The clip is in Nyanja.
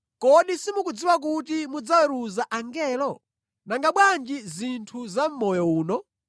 Kodi simukudziwa kuti mudzaweruza angelo? Nanga bwanji zinthu za mʼmoyo uno!